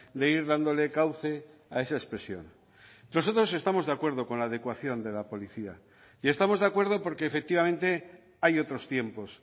de ir dándole cauce a esa expresión nosotros estamos de acuerdo con la adecuación de la policía y estamos de acuerdo porque efectivamente hay otros tiempos